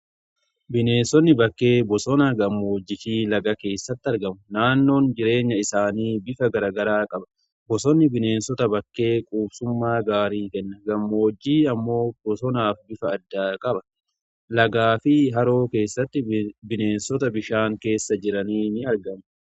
Bineensonni bakkee bosonaa gammoojjifii lagaa keessatti argamu naannoon jireenya isaanii bifa garagaraa qaba bosonni bineensota bakkee quubsummaa gaarii kenna gammoojjii ammoo bosonaaf bifa addaa qaba. lagaa fi haroo keessatti bineensota bishaan keessa jiranii ni argamu.